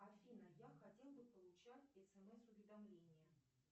афина я хотел бы получать смс уведомления